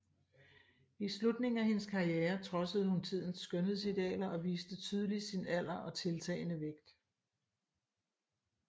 I slutningen af hendes karriere trodsede hun tidens skønhedsidealer og viste tydeligt sin alder og tiltagende vægt